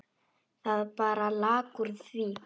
Það bara lak úr því.